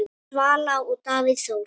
Svala og Davíð Þór.